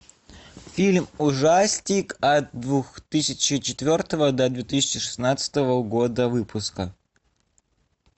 фильм ужастик от две тысячи четвертого до две тысячи шестнадцатого года выпуска